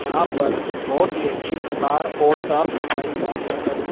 यहां पर बहोत ही अच्छी कतार और साफ सफाई का प्रबंध--